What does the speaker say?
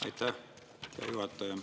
Aitäh, hea juhataja!